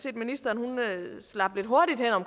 at ministeren slap lidt hurtigt hen